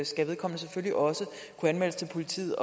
skal vedkommende selvfølgelig også kunne anmeldes til politiet